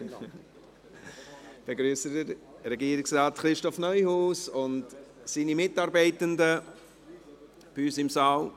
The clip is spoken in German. Ich begrüsse Regierungsrat Christoph Neuhaus und seine Mitarbeitenden bei uns im Saal.